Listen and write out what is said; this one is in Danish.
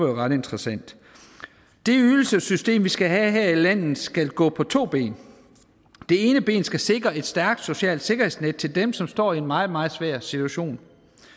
ret interessant det ydelsessystem vi skal have her i landet skal gå på to ben det ene ben skal sikre et stærkt socialt sikkerhedsnet til dem som står i en meget meget svær situation